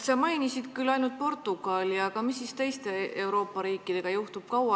Sa mainisid küll veel ainult Portugali, aga mis siis teiste Euroopa riikidega juhtub?